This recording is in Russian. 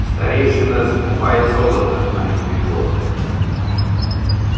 старейшина закупает золото а не прибор